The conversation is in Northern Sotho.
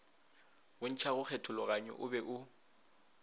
bontšhago kgethologanyo o be o